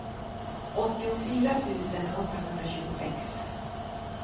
åttiofyra tusen åttahundratjugosex